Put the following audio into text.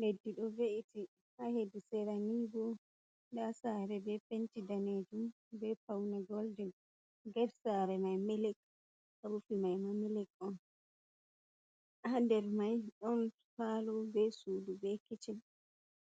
Leddi ɗo ve’iti ha hedi sera nibo nda sare be penti danejum be paune golden get sare mai milik rufin maima milik ha nder mai ɗon falo be suudu be kicen,